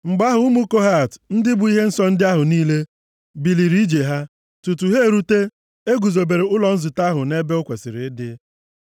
Mgbe ahụ, ụmụ Kohat ndị bu ihe nsọ ndị ahụ niile, biliri ije ha. Tutu ha erute, e guzobere ụlọ nzute ahụ nʼebe o kwesiri ịdị.